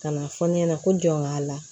Ka na fɔ ne ɲɛna ko n jɔn b'a la